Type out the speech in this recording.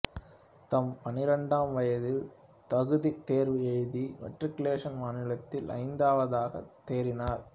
தம் பன்னிரண்டாம் வயதில் தகுதித் தேர்வு எழுதி மெட்ரிகுலேஷன் மாநிலத்தில் ஐந்தாவதாகத் தேறினார்